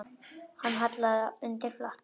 Hann hallaði undir flatt.